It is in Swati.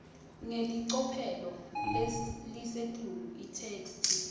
ngelicophelo lelisetulu itheksthi